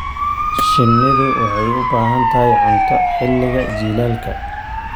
Shinnidu waxay u baahan tahay cunto xilliga jiilaalka.